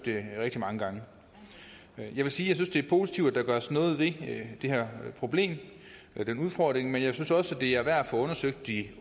rigtig mange gange jeg vil sige positivt at der gøres noget ved det her problem den udfordring men jeg synes også det er værd at få undersøgt i